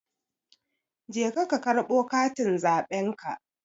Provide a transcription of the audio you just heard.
Je ka karɓo katin zaɓenka